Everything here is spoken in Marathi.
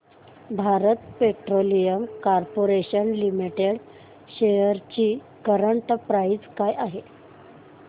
Bharat petroleum corporation limited shares ची करंट प्राइस काय आहे